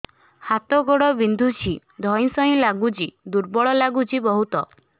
ହାତ ଗୋଡ ବିନ୍ଧୁଛି ଧଇଁସଇଁ ଲାଗୁଚି ଦୁର୍ବଳ ଲାଗୁଚି ବହୁତ